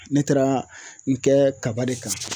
Ne taara n kɛ kaba de kan